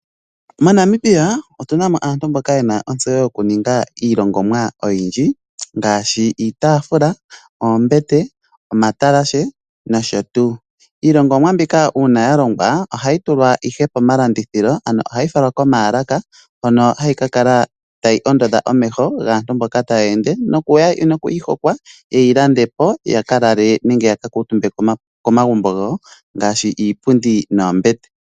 MoNamibia otu na mo aantu mboka ye na ontseyo yoku ninga iihongomwa oyindji, ngaashi iitafula, oombete, omatalashe nosho tuu. Iilongomwa mbika uuna ya longongwa ohayi falwa komaakala hono hayi kakala tayi ondodha omeho gaantu mbono taya ende po nokwihokwa yeyi lande po ya kalale nenge ya ka kuutumbe komagumbo gawo ngaashi iipundi noombete.